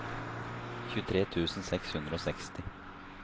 tjuetre tusen seks hundre og seksti